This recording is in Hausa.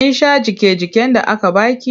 Kin sha jiƙe-jiƙen da aka ba ki?